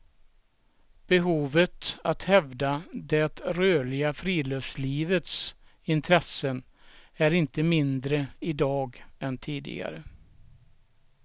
Behovet av att hävda det rörliga friluftslivets intressen är inte mindre i dag än tidigare.